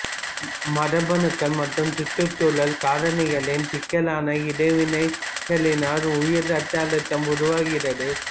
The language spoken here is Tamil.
மரபணுக்கள் மற்றும் சுற்றுச்சூழல் காரணிகளின் சிக்கலான இடைவினைகளினால் உயர் இரத்த அழுத்தம் உருவாகிறது